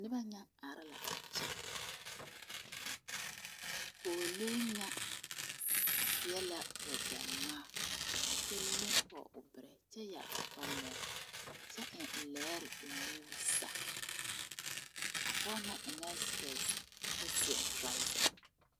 Noba nya are la a kyɛ pɔgelee ŋa seɛ la wagye ŋmaa kyɛ leŋ pɔge o bɛrɛ kyɛ yɛre kɔkɔlɛɛre eŋ leɛre o nuuri zaa pɔge ŋa eŋɛɛ sepɛse kyɛ seɛ toraza.